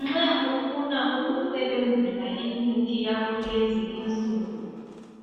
Nxa ufuna ukusebenzisa imithi yakulezi insuku